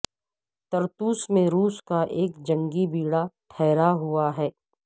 طرطوس میں روس کا ایک جنگی بیڑہ ٹھہرا ہوا ہے